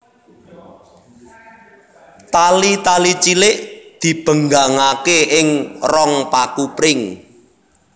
Tali tali cilik dibenggangaké ing rong paku pring